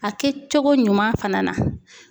A kɛcogo ɲuman fana na